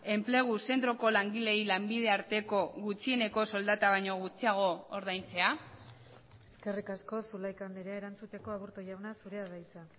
enplegu zentroko langileei lanbide arteko gutxieneko soldata baino gutxiago ordaintzea eskerrik asko zulaika andrea erantzuteko aburto jauna zurea da hitza